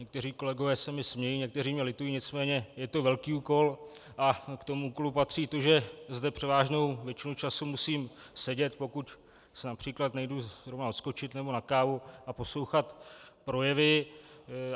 Někteří kolegové se mi smějí, někteří mě litují, nicméně je to velký úkol a k tomu úkolu patří to, že zde převážnou většinu času musím sedět, pokud si například nejdu zrovna odskočit nebo na kávu, a poslouchat projevy.